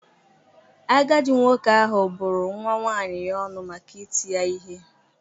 Agadi nwoke ahụ bụ́ru nwa nwaanyị ya ọnụ maka iti ya ihe.